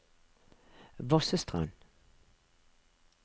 Vossestrand